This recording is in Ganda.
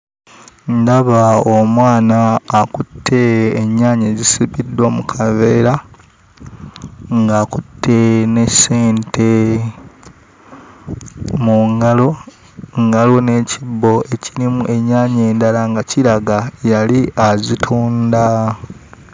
Ndaba omwana akutte ennyaanya ezisibiddwa mu kaveera, ng'akutte ne ssente mu ngalo, nga waliwo n'ekibbo ekirimu ennyaanya endala nga kiraga yali azitunda.